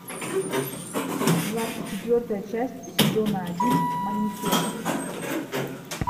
двадцать четвертая часть сезона один манифест